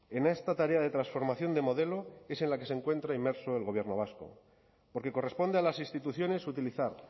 en esta tarea de transformación de modelo es en la que se encuentra inmerso el gobierno vasco porque corresponde a las instituciones utilizar